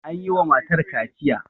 an yi wa matar kaciya